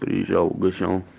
приезжал угощал